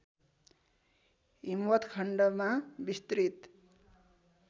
हिमवत्खण्डमा विस्तृत